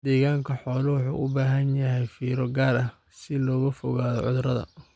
Deegaanka xooluhu wuxuu u baahan yahay fiiro gaar ah si looga fogaado cudurrada.